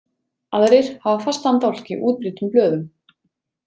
Aðrir hafa fastan dálk í útbreiddum blöðum.